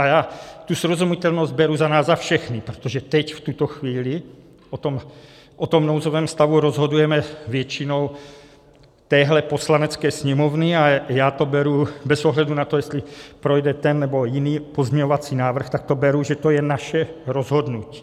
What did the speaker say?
A já tu srozumitelnost beru za nás za všechny, protože teď, v tuto chvíli, o tom nouzovém stavu rozhodujeme většinou téhle Poslanecké sněmovny a já to beru bez ohledu na to, jestli projde ten, nebo jiný pozměňovací návrh, tak to beru, že to je naše rozhodnutí.